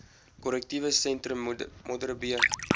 korrektiewe sentrum modderbee